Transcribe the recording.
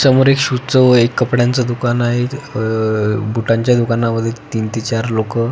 समोर एक शूजच व एक कपड्यांच दुकान आहे अह बुटांच्या दुकानमध्ये तीन ते चार लोक --